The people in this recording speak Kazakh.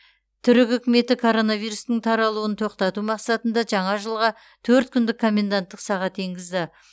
түрік үкіметі коронавирустың таралуын тоқтату мақсатында жаңа жылға төрт күндік коменданттық сағат енгізді